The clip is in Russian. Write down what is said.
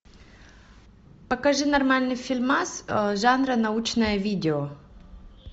покажи нормальный фильмас жанра научное видео